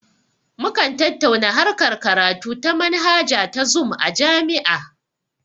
Mukan tattauna harkar karatu ta manhaja ta zum a jami'a